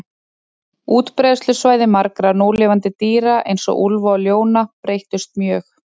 Útbreiðslusvæði margra núlifandi dýra, eins og úlfa og ljóna, breyttust mjög.